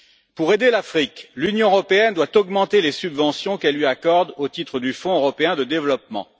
Pour aider l'Afrique, l'Union européenne doit augmenter les subventions qu'elle lui accorde au titre du Fonds européen de développement.